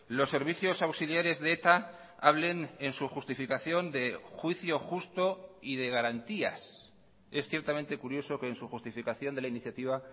los servicios auxiliares de eta hablen en su justificación de juicio justo y de garantías es ciertamente curioso que en su justificación de la iniciativa